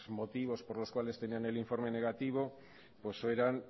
motivos por los cuales tenían el informe negativo